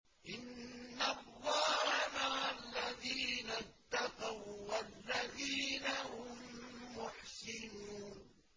إِنَّ اللَّهَ مَعَ الَّذِينَ اتَّقَوا وَّالَّذِينَ هُم مُّحْسِنُونَ